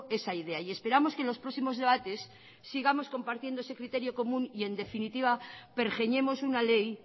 esa idea y esperamos que en los próximos debates sigamos compartiendo ese criterio común y en definitiva pergeñemos una ley